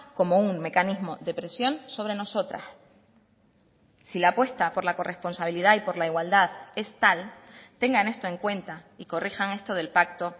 como un mecanismo de presión sobre nosotras si la apuesta por la corresponsabilidad y por la igualdad es tal tengan esto en cuenta y corrijan esto del pacto